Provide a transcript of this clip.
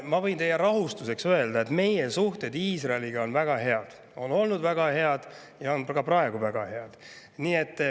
Ma võin teie rahustuseks öelda, et meie suhted Iisraeliga on väga head: on olnud väga head ja on ka praegu väga head.